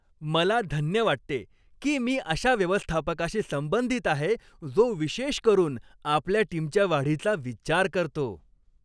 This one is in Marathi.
मला धन्य वाटते, की मी अशा व्यवस्थापकाशी संबंधित आहे जो विशेष करून आपल्या टीमच्या वाढीचा विचार करतो.